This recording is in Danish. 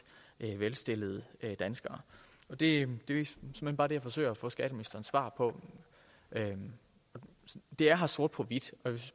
velstillede danskere det er såmænd bare det jeg forsøger at få skatteministerens svar på det er her sort på hvidt